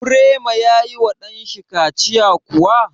Birema ya yi ma ɗan shi kaciya kuwa?